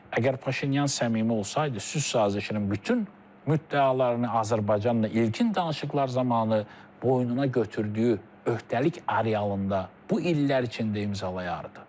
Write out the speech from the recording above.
Əgər Paşinyan səmimi olsaydı, sülh sazişinin bütün müddəalarını Azərbaycanla ilkin danışıqlar zamanı boynuna götürdüyü öhdəlik arealında bu illər içində imzalayardı.